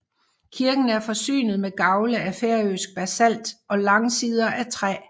Kirken er forsynet med gavle af færøsk basalt og langsider af træ